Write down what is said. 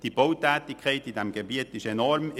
Die Bautätigkeit in diesem Gebiet ist enorm.